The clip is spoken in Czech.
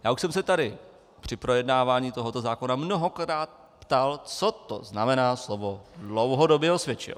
Já už jsem se tady při projednávání tohoto zákona mnohokrát ptal, co to znamená slovo "dlouhodobě" osvědčil.